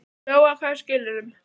Lóa: Hvaða skilyrðum?